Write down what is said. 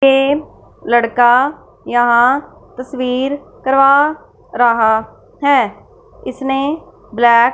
टेम लड़का यहाँ तस्वीर करवा रहा है इसने ब्लैक --